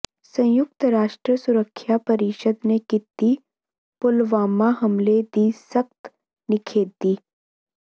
ਸੰਯੁਕਤ ਰਾਸ਼ਟਰ ਸੁਰੱਖਿਆ ਪਰਿਸ਼ਦ ਨੇ ਕੀਤੀ ਪੁਲਵਾਮਾ ਹਮਲੇ ਦੀ ਸਖ਼ਤ ਨਿਖੇਧੀ